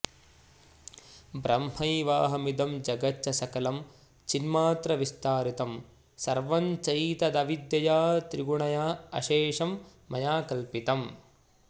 ब्रह्मैवाहमिदं जगच्च सकलं चिन्मात्रविस्तारितं सर्वं चैतदविद्यया त्रिगुणयाऽशेषं मया कल्पितम्